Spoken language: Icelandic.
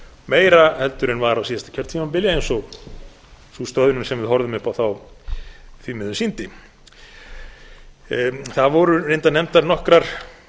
meira en var á síðasta kjörtímabili eins og sú stöðnun sem við horfðum upp á þá því miður sýndi það voru reyndar nefndar nokkrar